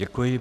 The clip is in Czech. Děkuji.